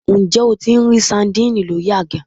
Ǹjẹ́ o tí n rí sadínìnnì lórí àga?